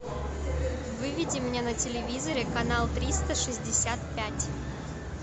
выведи мне на телевизоре канал триста шестьдесят пять